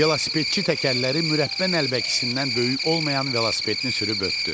Velosipedçi təkərləri mürəbbə nəlbəkisindən böyük olmayan velosipedini sürüb ötdü.